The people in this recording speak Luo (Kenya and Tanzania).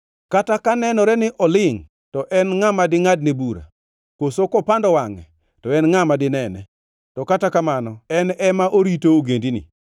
Kata ka nenore ni olingʼ, to en ngʼa ma dingʼadne bura? Koso kopando wangʼe, to en ngʼa ma dinene? To kata kamano en ema orito ogendini